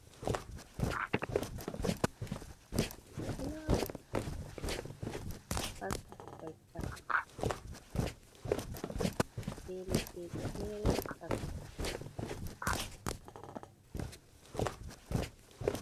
Fulawa ha sera kolta ɓe leɗɗeji fere ha sera lawol.